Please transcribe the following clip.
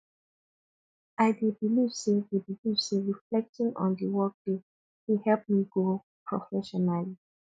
i dey believe say dey believe say reflecting on the workday dey help me grow professionally